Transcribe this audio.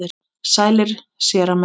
Sælir, séra minn.